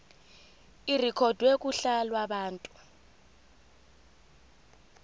irekhodwe kuhla lwabantu